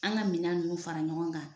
An ka minɛn ninnu fara ɲɔgɔn kan